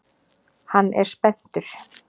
Hann er spenntur.